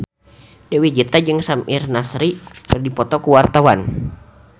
Dewi Gita jeung Samir Nasri keur dipoto ku wartawan